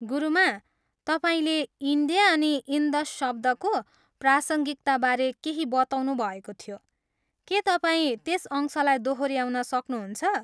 गुरुमा, तपाईँले इन्डिया अनि इन्दस शब्दको प्रासाङ्गिकताबारे केही बताउनु भएको थियो, के तपाईँ त्यस अंशलाई दोहोऱ्याउन सक्नुहुन्छ?